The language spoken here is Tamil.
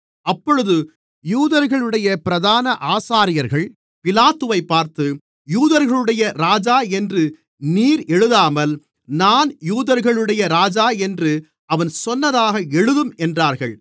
அப்பொழுது யூதர்களுடைய பிரதான ஆசாரியர்கள் பிலாத்துவைப் பார்த்து யூதர்களுடைய ராஜா என்று நீர் எழுதாமல் நான் யூதர்களுடைய ராஜா என்று அவன் சொன்னதாக எழுதும் என்றார்கள்